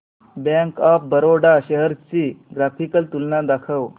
bank of Baroda shares ची graphical तुलना दाखव